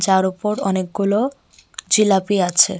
এটার উপর অনেকগুলো জিলাপি আছে।